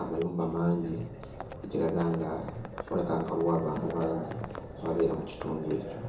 amayumba mangi ekiraga nga walabika nga waliwo abantu bangi ababeera mu kitundu ekyo.